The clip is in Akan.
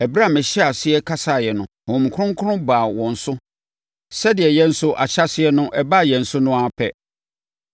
“Ɛberɛ a mehyɛɛ aseɛ kasaeɛ no, Honhom Kronkron baa wɔn so sɛdeɛ yɛn nso ahyɛaseɛ no, ɛbaa yɛn so no ara pɛ.